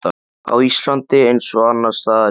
Á Íslandi, eins og annars staðar í